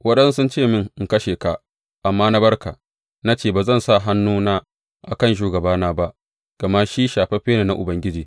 Waɗansu sun ce mini in kashe ka, amma na bar ka, na ce, Ba zan sa hannuna a kan shugabana ba, gama shi shafaffe ne na Ubangiji.’